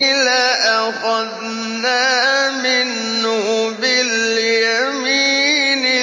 لَأَخَذْنَا مِنْهُ بِالْيَمِينِ